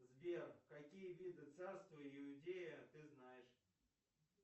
сбер какие виды царства иудея ты знаешь